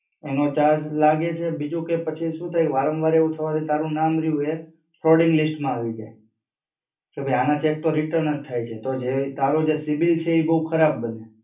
એનો charge લાગે છે, બીજું કે પછી શું થાય કે વારંવાર એવું થવાથી તારું નામ રિયુ એ frauding list માં આવી જાય. કે ભાઈ આના cheque તો return જ થાય છે તો તારું જે CIBIL છે ઈ બવ ખરાબ બને.